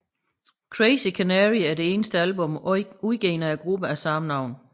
Crazy Canary er det eneste album udgivet af gruppen af samme navn